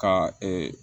Ka